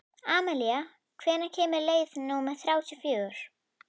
Amalía, hvenær kemur leið númer þrjátíu og fjögur?